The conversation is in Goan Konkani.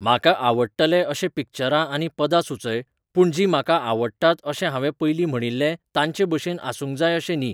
म्हाका आवडटले अशीं पिक्चरां आनी पदां सुचय पूण जीं म्हाका आवडटात अशें हांवें पयलीं म्हणिल्लें तांचेचभशेन आसूंक जाय अशें न्ही